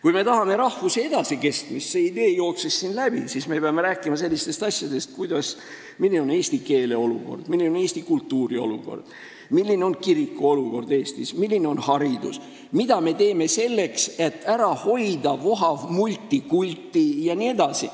Kui me tahame rahvuse edasikestmist – see idee jooksis siin läbi –, siis me peame rääkima sellistest asjadest, milline on eesti keele olukord, milline on eesti kultuuri olukord, milline on kirikute olukord Eestis, milline on hariduse olukord, mida me teeme selleks, et ära hoida vohavat multikultit, jne.